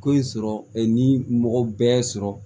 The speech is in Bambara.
Ko in sɔrɔ ni mɔgɔ bɛɛ sɔrɔ